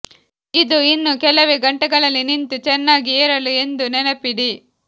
ಇದು ಇನ್ನೂ ಕೆಲವೇ ಗಂಟೆಗಳಲ್ಲಿ ನಿಂತು ಚೆನ್ನಾಗಿ ಏರಲು ಎಂದು ನೆನಪಿಡಿ